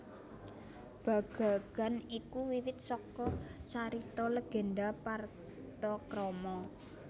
Bagagan iku wiwit saka carita legenda Partakrama